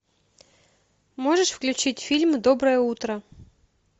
можешь включить фильм доброе утро